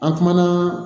An kumana